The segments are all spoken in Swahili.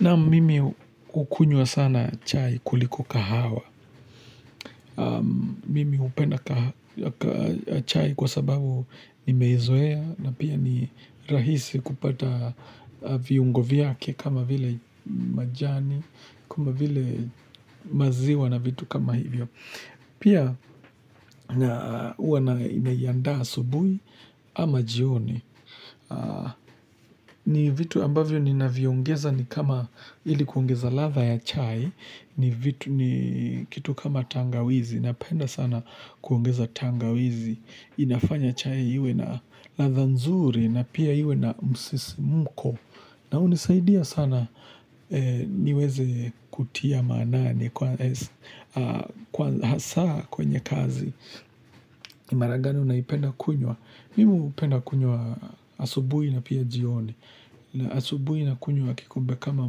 Naam mimi hukunywa sana chai kuliko kahawa. Mimi hupenda chai kwa sababu nimeizoea na pia ni rahisi kupata viungo vyake kama vile majani, kama vile maziwa na vitu kama hivyo. Pia huwa na andaa asubuhi ama jioni. Ni vitu ambavyo ninavyo ongeza ni kama ili kuongeza ladha ya chai ni vitu ni kitu kama tangawizi napenda sana kuongeza tangawizi inafanya chai iwe na ladha nzuri na pia iwe na msisimko na hunisaidia sana niweze kutia maanani kwanza hasa kwenye kazi mara gani unaipenda kunywa Mimi hupenda kunywa asubuhi na pia jioni asubuhi nakunywa kikombe kama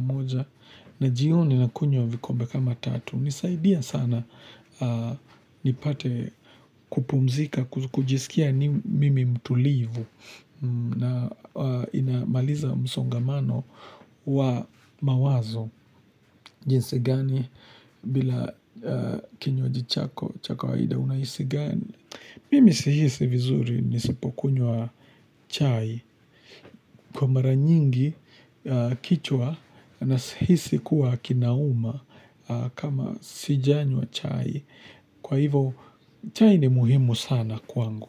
moja na jioni nakunywa vikombe kama tatu hunisaidia sana nipate kupumzika, kujisikia mimi mtulivu na inamaliza msongamano wa mawazo jinsi gani bila kinywaji chako cha kawaida unahisi gani mimi sihisi vizuri nisipokunywa chai kwa mara nyingi kichwa na si hisi kuwa kinauma kama sijanywa chai kwa hivo chai ni muhimu sana kwangu.